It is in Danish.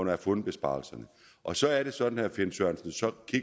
har fundet besparelserne og så er det sådan herre finn sørensen